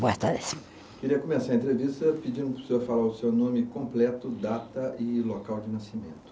Boa tarde. Queria começar a entrevista pedindo para o senhor falar o seu nome completo, data e local de nascimento.